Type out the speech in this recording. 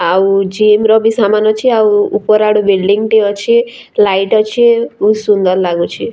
ଆଉ ଜିମ୍‌ ର ବି ସାମାନ ଅଛେ ଆଉ ଉପର୍‌ ଆଡୁ ବିଲ୍ଡିଙ୍ଗ ଟେ ଅଛେ ଲାଇଟ୍ ଅଛେ ବହୁତ୍ ସୁନ୍ଦର୍ ଲାଗୁଛେ।